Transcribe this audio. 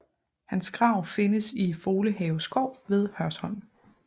Hans grav findes i Folehave Skov ved Hørsholm